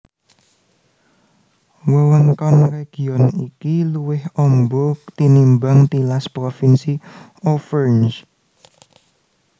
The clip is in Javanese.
Wewengkon région iki luwih amba tinimbang tilas provinsi Auvergne